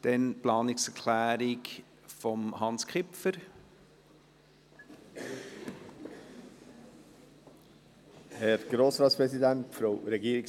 Der künftige Direktionsname der heutigen GEF ist zu überprüfen, insbesondere soll der soziale Charakter der Direktion weiter zur Geltung kommen.